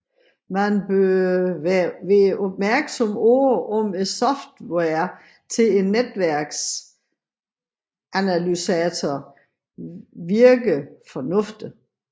Man bør være opmærksom på om softwaren til netværksanalysatoren virker fornuftigt